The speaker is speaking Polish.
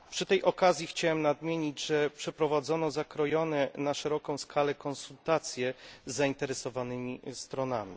Przy tej okazji chciałem nadmienić, że przeprowadzono zakrojone na szeroką skalę konsultacje z zainteresowanymi stronami.